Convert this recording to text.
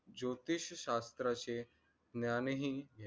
ज्योतिष्य शास्त्राचे ज्ञान हि